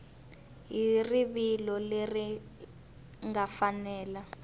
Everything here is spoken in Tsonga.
hi rivilo leri nga fanela